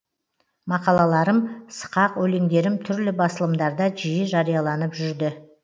мақалаларым сықақ өлеңдерім түрлі басылымдарда жиі жарияланып жүрді